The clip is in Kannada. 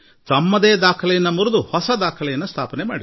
ಇದಕ್ಕಾಗಿ ದೇಶದ ಎಲ್ಲ ಜನತೆಗೂ ನಾನು ಅಭಿನಂದನೆಗಳನ್ನು ಸಲ್ಲಿಸುತ್ತೇನೆ